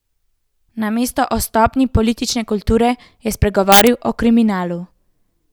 Namesto o stopnji politične kulture je spregovoril o kriminalu.